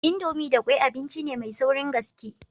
Indomie da kwai abinci ne mai saurin gaske.